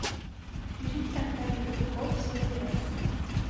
включить аркадий кобяков сотни раз